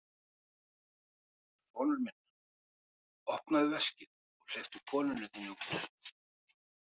Sonur minn, opnaðu veskið og hleyptu konunni þinni út!